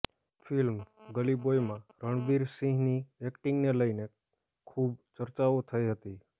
film ગલીબોયમાં રણવીર સિંહની એક્ટિંગને લઈને ખૂબ ચર્ચાઓ થઈ હતી